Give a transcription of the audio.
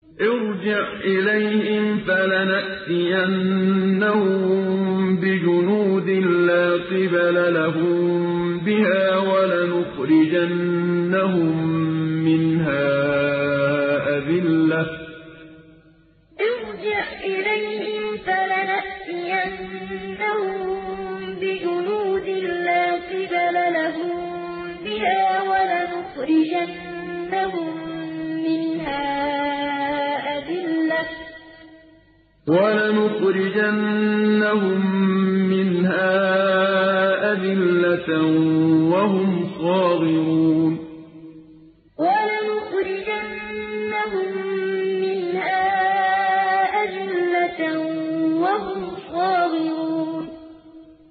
ارْجِعْ إِلَيْهِمْ فَلَنَأْتِيَنَّهُم بِجُنُودٍ لَّا قِبَلَ لَهُم بِهَا وَلَنُخْرِجَنَّهُم مِّنْهَا أَذِلَّةً وَهُمْ صَاغِرُونَ ارْجِعْ إِلَيْهِمْ فَلَنَأْتِيَنَّهُم بِجُنُودٍ لَّا قِبَلَ لَهُم بِهَا وَلَنُخْرِجَنَّهُم مِّنْهَا أَذِلَّةً وَهُمْ صَاغِرُونَ